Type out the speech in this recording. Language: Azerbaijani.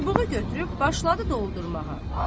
Çubuğu götürüb başladı doldurmağa.